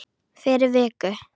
Fyrir viku.